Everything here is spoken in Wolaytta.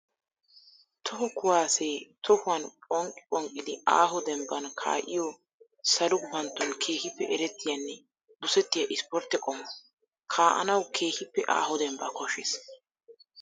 Toho kuwase tohuwan phonqqi phonqqiddi aaho dembban kaa'iyo salo gufantton keehippe erettiyanne dosettiya isportte qommo. Kaa'annawu keehippe aaho dembba koshees.